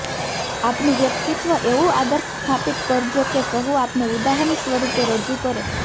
આપનું વ્યક્તિત્વ એવું આદર્શ સ્થાપિત કરજો કે સહુ આપને ઉદાહરણ સ્વરૂપે રજૂ કરો